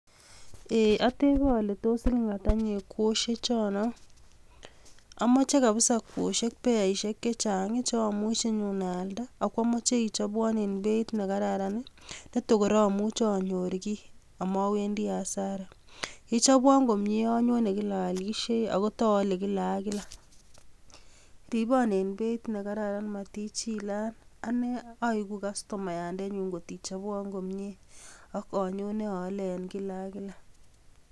Ei atebe ale siling ata inye kwosiechono, amoche kabisa kwosiek beasiek chechang chomuche anyo aalde ak amoche ichobwon en beit nekararan. Netokoor amuche anyor faida ak mowendi hasta, yechobwon komie anyone kila aalisie ak tanyone kila ak kila Igeere anyun kastoma ngot iriibon aiko kastamoyandengu kila ak kila ngot ichobwon komie ak anyone ole en kila ak kila